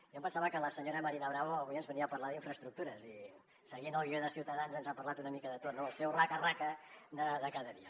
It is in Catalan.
jo em pensava que la senyora marina bravo avui ens venia a parlar d’infraestructures i seguint el guió de ciutadans ens ha parlat una mica de tot el seu raca raca de cada dia